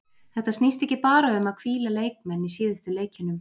Þetta snýst ekki bara um að hvíla leikmenn í síðustu leikjunum.